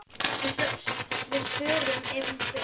Við svörum ef hún spyr.